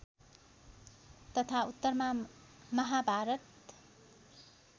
तथा उत्तरमा माहाभारत